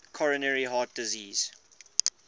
coronary heart disease